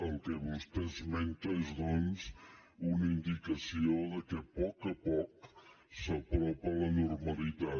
el que vostè esmenta és doncs una indicació que a poc a poc s’apropa la normalitat